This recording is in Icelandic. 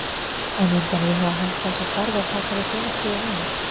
En myndi hann íhuga að hætta þessu starfi og taka við félagsliði núna?